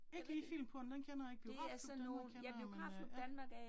Ikke lige Filmporten, den kender jeg ikke. Biografklub Danmark, kender jeg men øh ja